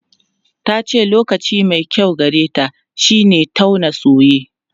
Ta ce lokaci mai kyau gareta shine tauna soye.